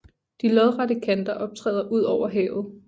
De lodrette kanter optræder ud over havet